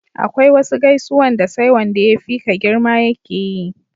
akwai wasu gaisuwan da sai Wanda ya fi ka girma ya keyi